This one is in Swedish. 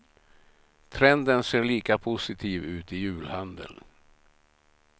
Trenden ser lika positiv ut i julhandeln.